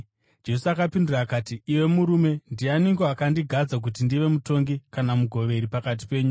Jesu akapindura akati, “Iwe murume, ndianiko akandigadza kuti ndive mutongi kana mugoveri pakati penyu?”